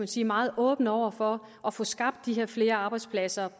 sige meget åbent over for at få skabt de her flere arbejdspladser